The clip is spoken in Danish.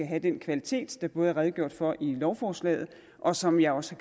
have den kvalitet der både er redegjort for i lovforslaget og som jeg også